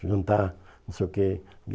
Jantar, não sei o quê.